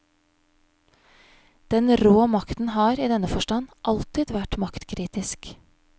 Den rå makten har, i denne forstand, alltid vært maktkritisk.